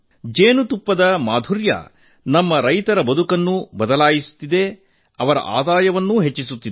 ಜೇನಿನ ಸಿಹಿ ನಮ್ಮ ರೈತರ ಬದುಕನ್ನೂ ಸಹ ಬದಲಾಯಿಸುತ್ತಿದೆ ಆದಾಯವೂ ಹೆಚ್ಚುತ್ತಿದೆ